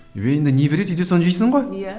енді не береді үйде соны жейсің ғой иә